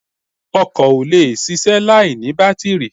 Ọkọ̀ ò lè ṣiṣẹ́ láìní bátìrì